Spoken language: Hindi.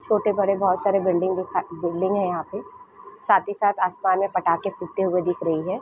छोटे बड़े बहुत सारे बिल्डिंग दिखाई बिल्डिंग है यहाँ पे साथ ही साथ आसमान में पटाखे फूटते हुए दिख रही हैं।